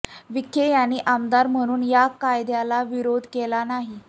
विखे यांनी आमदार म्हणून या कायद्याला विरोध केला नाही